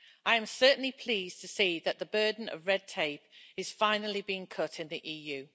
I am certainly pleased to see that the burden of red tape is finally being cut in the EU.